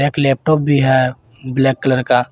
Laptop भी है black colour का।